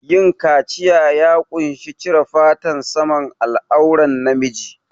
Yin kaciya ya ƙunshi cire fatan saman al'auran na miji